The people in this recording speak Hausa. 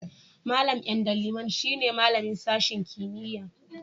Mallam Ndaliman shine malamin sashen kimiyya'n.